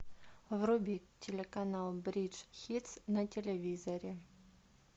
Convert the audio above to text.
вруби телеканал бридж хитс на телевизоре